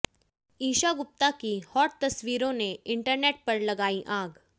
ईशा गुप्ता की हॉट तस्वीरों ने इंटरनेट पर लगाई आग